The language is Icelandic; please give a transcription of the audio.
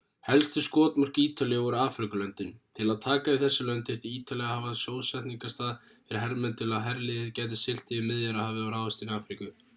helstu skotmörk ítalíu voru afríkulöndin til að taka yfir þessi lönd þyrfti ítalía að hafa sjósetningarstað fyrir hermenn til að herliðið gæti siglt yfir miðjarðarhafið og ráðist inn í afríku